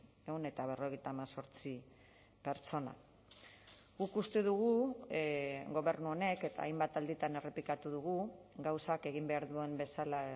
ehun eta berrogeita hemezortzi pertsona guk uste dugu gobernu honek eta hainbat alditan errepikatu dugu gauzak egin behar duen bezala